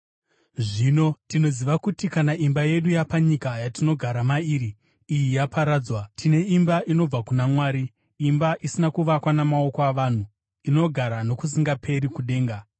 Zvino tinoziva kuti kana imba yedu yapanyika yatinogara mairi iyi yaparadzwa, tine imba inobva kuna Mwari, imba isina kuvakwa namaoko avanhu, inogara nokusingaperi kudenga.